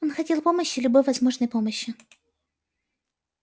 он хотел помощи любой возможной помощи